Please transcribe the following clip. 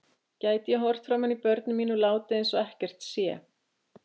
Gæti ég horft framan í börnin mín og látið eins og ekkert sé?